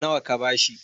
nawa ka ba shi?